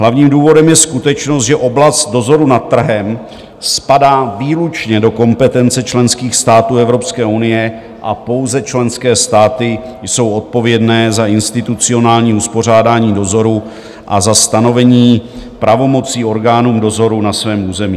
Hlavním důvodem je skutečnost, že oblast dozoru nad trhem spadá výlučně do kompetence členských států Evropské unie a pouze členské státy jsou odpovědné za institucionální uspořádání dozoru a za stanovení pravomocí orgánům dozoru na svém území.